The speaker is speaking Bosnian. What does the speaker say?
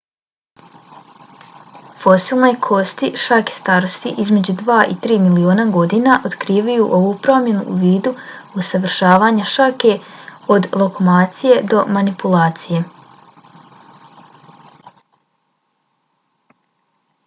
fosilne kosti šake starosti između dva i tri miliona godina otkrivaju ovu promjenu u vidu usavršavanja šake od lokomocije do manipulacije